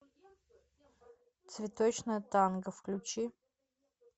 цветочное танго включи